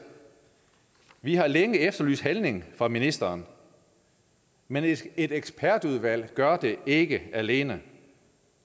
vi har længe efterlyst handling fra ministeren men et et ekspertudvalg gør det ikke alene